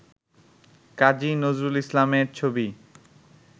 কাজী নজরুল ইসলামের ছবি